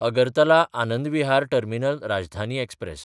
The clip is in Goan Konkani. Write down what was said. अगरतला–आनंद विहार टर्मिनल राजधानी एक्सप्रॅस